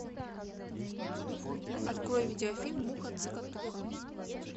открой видеофильм муха цокотуха